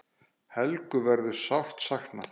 Helgu verður sárt saknað.